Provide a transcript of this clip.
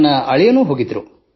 ನನ್ನ ಅಳಿಯನೂ ಹೋಗಿದ್ದ